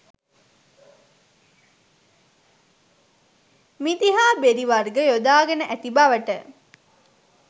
මිදි හා බෙරි වර්ග යොදාගෙන ඇති බවට